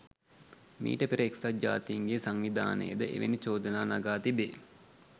මීට පෙර එක්සත් ජාතීන්ගේ සංවිධානය ද එවැනි චෝදනා නගා තිබේ.